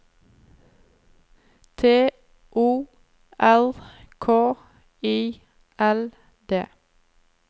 T O R K I L D